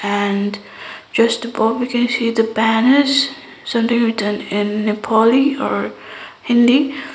and just above we can see the banners something written in nepali or hindi.